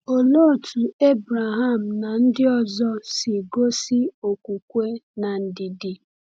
Olee otú Abraham na ndị ọzọ si gosi okwukwe na ndidi?